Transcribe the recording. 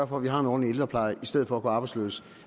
for at vi har en ordentlig ældrepleje i stedet for at gå arbejdsløse